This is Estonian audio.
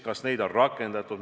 Kas neid on rakendatud?